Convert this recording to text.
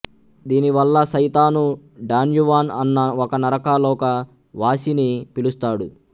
దీనివల్ల సైతాను డాన్యువాన్ అన్న ఒక నరకలోక వాసిని పిలుస్తాడు